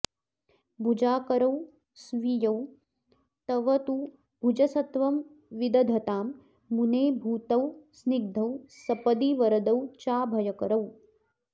भुजाकारौ स्वीयौ तव तु भुजसत्त्वं विदधतां मुने भूतौ स्निग्धौ सपदि वरदौ चाभयकरौ